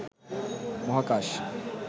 মহাকাশ